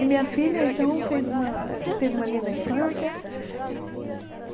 E minha filha, então, fez uma eh teve uma linda infância.